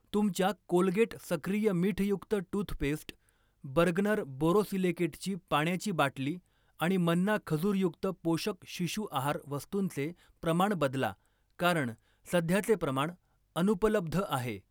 तुमच्या कोलगेट सक्रिय मीठयुक्त टूथपेस्ट, बर्गनर बोरोसिलिकेटची पाण्याची बाटली आणि मन्ना खजूरयुक्त पोषक शिशु आहार वस्तूंचे प्रमाण बदला, कारण सध्याचे प्रमाण अनुपलब्ध आहे.